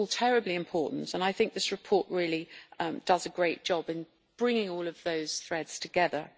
It is all terribly important and I think this report really does a great job in bringing all of those threads together.